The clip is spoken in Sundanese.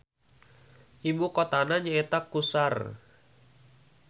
Ibu kotana nyaeta Qusar.